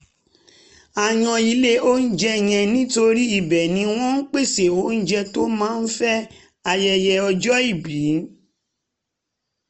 a yan ilé oúnjẹ yẹn nítorí ibẹ̀ ni wọ́n pèsè oúnjẹ tó máa fẹ́ ayẹyẹ ọjọ́ ìbí